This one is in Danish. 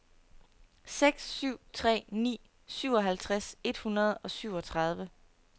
seks syv tre ni syvoghalvtreds et hundrede og syvogtredive